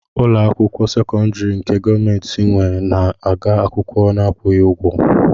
Ụlọakwụkwọ sekondari nke gọọmenti nwé na -ege akwụkwọ n'akwughị ụgwọ.